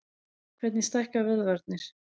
Hvernig stækka vöðvarnir?